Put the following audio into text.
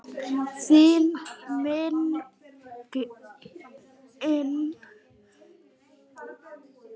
Þín minning lifir.